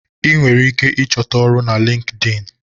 I nwere ike achọta ọrụ na linkedi